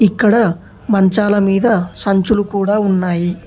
ఇక్కడ మంచాల మీద సంచులు కూడా ఉన్నాయి.